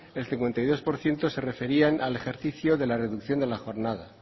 el cincuenta y dos por ciento se referían al ejercicio de la reducción de la jornada